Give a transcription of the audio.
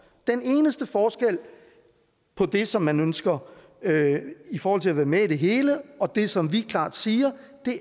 den eneste forskel på det som man ønsker i forhold til at være med i det hele og det som vi klart siger